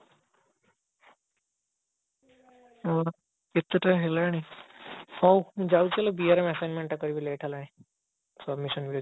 ହଁ କେତେଟା ହେଲାଣି ହଉ ମୁଁ ଯାଉଛି assignment ଟା କରିବି late ହେଲାଣି submission ବି ଅଛି